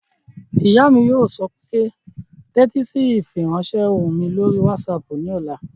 Ìyá mi yóò sọ pé "tẹ́tí sí ìfiránsẹ́ ohùn mi lórí wásaàpù ní ọ̀la!"